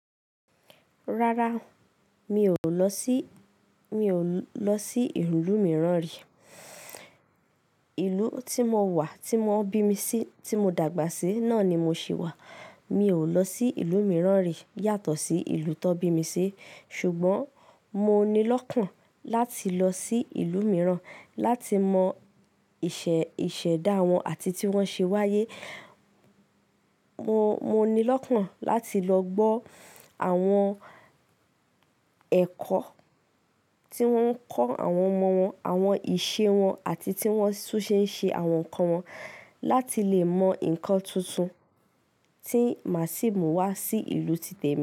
Rárá, mi ò lọ sí, mi ò lọ sí ìlú mìíràn rí. Ìlú tí mo wà, tí wọ́n bí mi sí, tí mo dàgbà sí náà ni mo sì wà. Mi ò lọ sí ìlú mìíràn rí yàtọ̀ sí ìlú tó bí mi sí. Ṣùgbọ́n mo ni lọ́kàn láti lọ sí ìlú mìíràn láti mọ ìṣe, ìṣẹ̀dá wọn àti tí wọ́n ṣe wáyé. Mo, mo ni lọ́kàn láti lọ gbọ́ àwọn ẹ̀kọ́ tí wọ́n ń kọ́ àwọn ọmọ wọn, àwọn ìṣe wọn àti tí wọ́n tún ṣe ń ṣe àwọn nǹkan wọn láti lè mọ nǹkan tuntun tí màsíìmù wá sí ìlú ti tẹ̀ mí.